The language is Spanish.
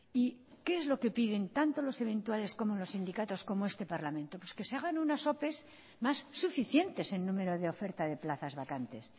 y qué es lo que piden tanto los eventuales como los sindicatos como este parlamento pues que se hagan unas ope más suficientes en número de oferta de plazas vacantes